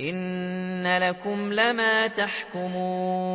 إِنَّ لَكُمْ لَمَا تَحْكُمُونَ